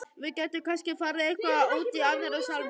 Við gætum kannski farið eitthvað út í Aðra sálma.